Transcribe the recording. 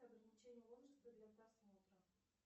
ограничение возраста для просмотра